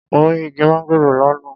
Mo rí igi mángòrò lọ́nà.